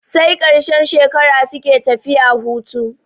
Sai ƙarshen shekara suke tafiya hutu.